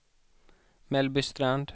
Mellbystrand